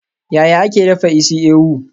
Yaya ake dafa isi-ewu?